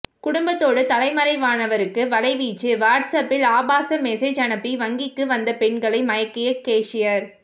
குடும்பத்தோடு தலைமறைவானவருக்கு வலைவீச்சு வாட்ஸ் அப்பில் ஆபாச மெசேஜ் அனுப்பி வங்கிக்கு வந்த பெண்களை மயக்கிய கேஷியர்